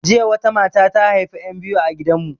Jiya wata mata ta haifi 'yan biyu a gidan mu